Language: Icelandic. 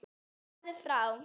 Farðu frá!